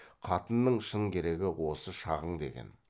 қатынның шын керегі осы шағың деген